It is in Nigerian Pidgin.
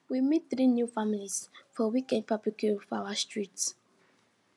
we meet three new families for weekend barbecue for our street